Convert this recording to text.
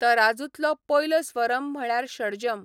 तराजूंतलो पयलो स्वरम म्हळ्यार शडजम.